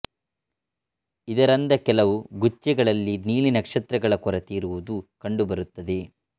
ಇದರಂದ ಕೆಲವು ಗುಚ್ಚೆಗಳಲ್ಲಿ ನೀಲಿ ನಕ್ಷತ್ರಗಳ ಕೊರತೆ ಇರುವುದು ಕಂಡು ಬರುತ್ತದೆ